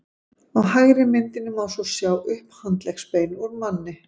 á hægri myndinni má svo sjá upphandleggsbein úr manni